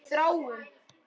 Við þráum.